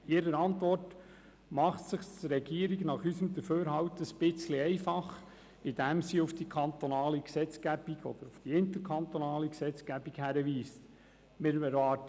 In ihrer Antwort macht es sich die Regierung nach unserer Auffassung etwas einfach, indem sie auf die kantonale oder auf die interkantonale Gesetzgebung hinweist.